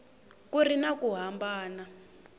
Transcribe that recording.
ku ri na ku hambana